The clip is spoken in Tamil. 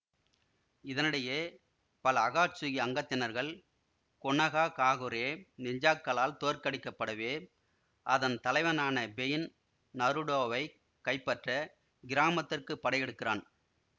இதனிடையே பல அகாட்சுகி அங்கத்தினர்கள் கொனாஹாகாகுரே நிஞ்ஜாக்களால் தோற்கடிக்கப்படவே அதன் தலைவனான பெயின் நருடோவைக் கைப்பற்ற கிராமத்திற்குப் படையெடுக்கிறான்